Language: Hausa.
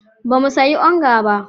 Ba mu sayi onga ba.